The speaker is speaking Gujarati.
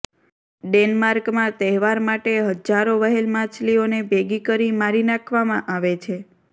ડેન્માર્કમાં તહેવાર માટે હજારો વ્હેલ માછલીઓને ભેગી કરી મારી નાખવામાં આવે છે